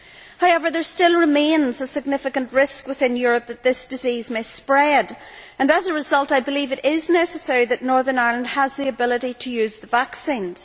However, there still remains a significant risk within Europe that this disease may spread and, as a result, I believe it is necessary that Northern Ireland has the ability to use the vaccines.